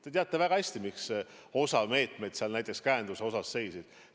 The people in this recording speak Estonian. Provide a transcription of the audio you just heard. Te teate väga hästi, miks osa meetmeid, näiteks käenduse meetmeid seisid.